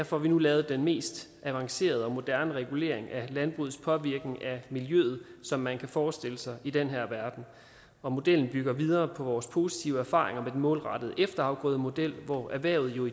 får vi nu lavet den mest avancerede og moderne regulering af landbrugets påvirkning af miljøet som man kan forestille sig i den her verden og modellen bygger videre på vores positive erfaringer med den målrettede efterafgrødemodel hvor erhvervet jo i